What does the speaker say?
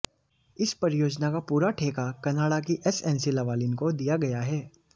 इस परियोजना का पूरा ठेका कनाडा की एसएनसी लवालिन को दिया गया है